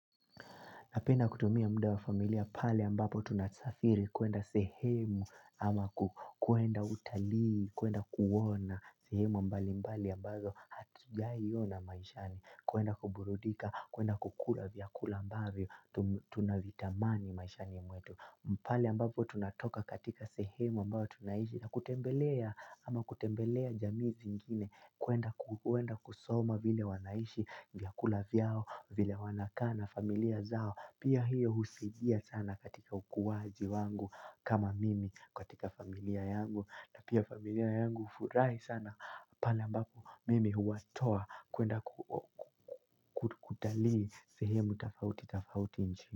Napenda kutumia mda wa familia pale ambapo tunasafiri kuenda sehemu ama kuenda utalii, kuenda kuona sehemu mbali mbali ambazo hatujaiona maishani. Kwenda kuburudika, kwenda kukula vyakula ambavyo tunavitamani maishani mwetu. Pale ambapo tunatoka katika sehemu ambayo tunaiishi na kutembelea ama kutembelea jamii zingine kwenda kusoma vile wanaishi vyakula vyao vile wanakaa na familia zao pia hiyo husaidia sana katika ukuwaji wangu kama mimi katika familia yangu na pia familia yangu hufurahi sana pala ambapo mimi huwatoa kwenda kutalii sehemu tofauti tofauti nchini.